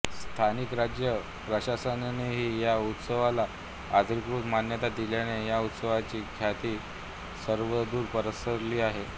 स्थानिक राज्य प्रशासनानेही या उत्सवाला अधिकृत मान्यता दिल्याने या उत्सवाची ख्याती सर्वदूर पसरली आहे